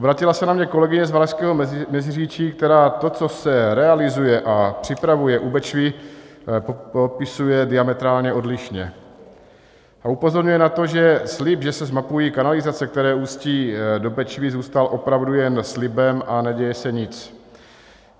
Obrátila se na mě kolegyně z Valašského Meziříčí, která to, co se realizuje a připravuje u Bečvy, popisuje diametrálně odlišně a upozorňuje na to, že slib, že se zmapují kanalizace, které ústí do Bečvy, zůstal opravdu jen slibem a neděje se nic.